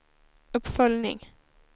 uppföljning